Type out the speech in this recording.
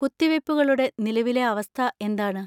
കുത്തിവെപ്പുകളുടെ നിലവിലെ അവസ്ഥ എന്താണ്?